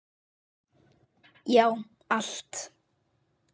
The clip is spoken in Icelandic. Já, allt!